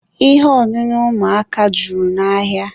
Ihe ọṅụṅụ ụmụaka juru n'ahịa.